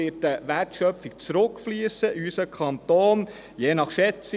Eine Wertschöpfung wird in unseren Kanton zurückfliessen.